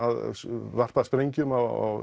varpa sprengjum á